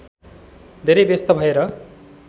धेरै व्यस्त भएर